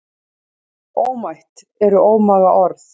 Ómætt eru ómaga orð.